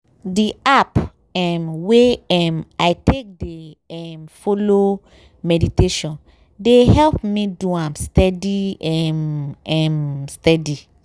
di app um wey um i take dey um follow meditation dey help me do am steady um um steady.